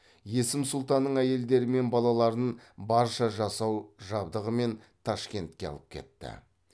есім сұлтанның әйелдері мен балаларын барша жасау жабдығымен ташкентке алып кетті